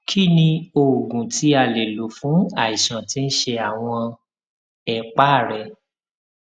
kí ni oògùn tí a lè lò fún àìsàn tí ń ṣe àwọn ẹpá rẹ